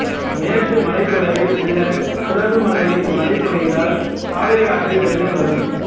மேற்கு மலைத்தொடரில் உள்ள குடகு மலையில் மழை பொழிந்தால் காவிரியாற்றில் வெள்ளம் வரும்